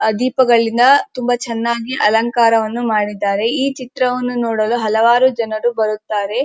ಆ ದೀಪಗಳಿಂದ ತುಂಬಾ ಚೆನ್ನಾಗಿ ಅಲಂಕಾರವನ್ನು ಮಾಡಿದ್ದಾರೆ ಈ ಚಿತ್ರವನ್ನು ನೋಡಲು ಹಲವಾರು ಜನರು ಬರುತ್ತಾರೆ.